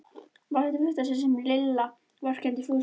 Þetta var í fyrsta sinn sem Lilla vorkenndi Fúsa.